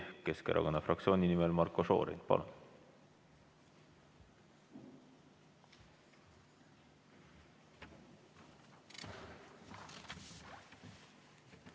Keskerakonna fraktsiooni nimel Marko Šorin, palun!